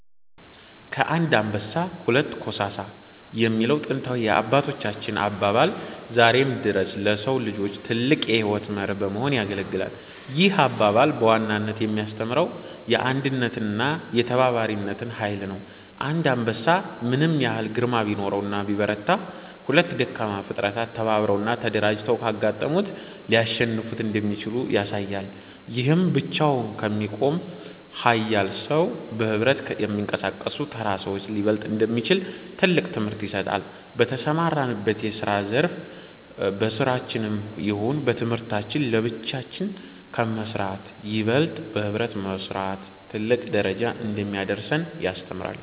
ከአንድ አንበሳ ሁለት ኮሳሳ የሚለው ጥንታዊ የአባቶቻችን አባባል ዛሬም ድረስ ለሰው ልጆች ትልቅ የሕይወት መርህ በመሆን ያገለግላል። ይህ አባባል በዋናነት የሚያስተምረው የአንድነትንና የተባባሪነትን ኃይል ነው። አንድ አንበሳ ምንም ያህል ግርማ ቢኖረውና ቢበረታ፤ ሁለት ደካማ ፍጥረታት ተባብረውና ተደራጅተው ካጋጠሙት ሊያሸንፉት እንደሚችሉ ያሳያል። ይህም ብቻውን ከሚቆም ኃያል ሰው፣ በኅብረት ከሚንቀሳቀሱ ተራ ሰዎች ሊበለጥ እንደሚችል ትልቅ ትምህርት ይሰጣል። በተሰማራንበት የስራ ዘርፍ በስራችንም ይሁን በትምህርታችን ለብቻችን ከመስራት ይበልጥ በህብረት መስራት ትልቅ ደረጃ እንደሚያደርሰን ያስተምረናል።